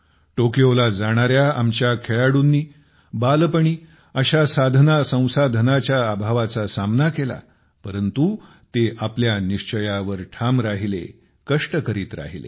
टोक्योला जाणाऱ्या आमच्या खेळाडूंनी बालपणी असा साधनासंसाधनाच्या अभावाचा सामना केला परंतु ते आपल्या निश्चयावर ठाम राहिले कष्ट करत राहिले